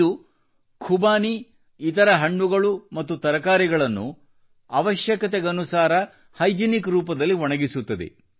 ಇದು ಖುಬಾನಿ ಇತರ ಹಣ್ಣುಗಳು ಮತ್ತು ತರಕಾರಿಗಳನ್ನು ಅವಶ್ಯಕತೆಗನುಸಾರ ಹೈಜಿನಿಕ್ ರೂಪದಲ್ಲಿ ಒಣಗಿಸುತ್ತದೆ